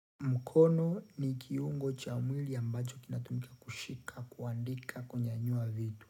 Mukono ni kiungo cha mwili ambacho kinatumika kushika kuandika kunyanyua vitu.